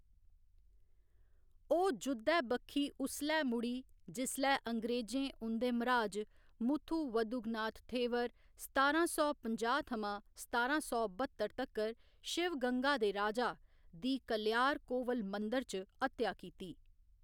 ओह्‌‌ जुद्धै बक्खी उसलै मुड़ी जिसलै अंग्रेजें उं'दे मराज मुथु वदुगनाथ थेवर सतारां सौ पंजाह्‌ थमां सतारां सौ बत्तर तक्कर, शिवगंगा दे राजा, दी कलयार कोविल मंदर च हत्या कीती।